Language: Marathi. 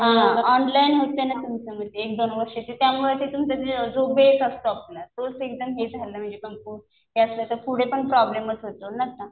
हा. ऑनलाईन होतं ना तुमचं एक-दोन वर्ष. त्यामुळं ते तुमचं जो बेस असतो आपला तोच एकदम हे झाला म्हणजे कमकुवत. हे असं तर पुढे पण प्रॉब्लेमच होतो ना आता.